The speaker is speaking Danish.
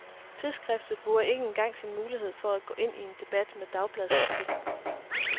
Tidsskriftet bruger ikke engang sin mulighed for at gå ind i en debat med dagbladskritikken.